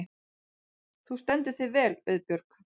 Þú stendur þig vel, Auðbjörg!